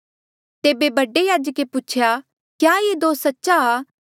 तेबे बडे याजके पूछा क्या ये दोस सच्ची आ